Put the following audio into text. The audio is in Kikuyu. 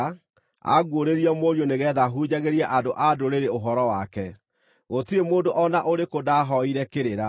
anguũrĩrie Mũriũ nĩgeetha hunjagĩrie andũ-a-Ndũrĩrĩ ũhoro wake; gũtirĩ mũndũ o na ũrĩkũ ndaahoire kĩrĩra,